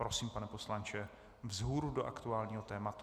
Prosím, pane poslanče, vzhůru do aktuálního tématu.